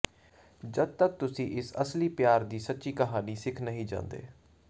ਜਦ ਤੱਕ ਤੁਸੀਂ ਇਸ ਅਸਲੀ ਪਿਆਰ ਦੀ ਸੱਚੀ ਕਹਾਣੀ ਸਿੱਖ ਨਹੀਂ ਜਾਂਦੇ